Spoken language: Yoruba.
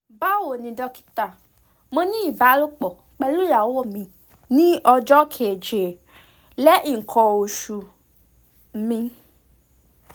bawoni dokita mo ni ibalopo pelu iyawo mi ni ojo keje lehin ikan osu um mi